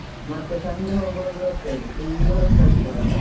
ಮತ್ತೆ ಸಂಜೆ ಹೋಗುವಾಗ್ಲೂ ಅಷ್ಟೇ full rush ಆಗ್ತದಲ್ಲ.